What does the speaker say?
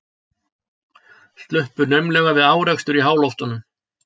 Sluppu naumlega við árekstur í háloftunum